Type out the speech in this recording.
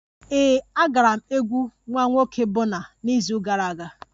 Ee, agara m egwu nwa nwoke Bọna n'izu gara aga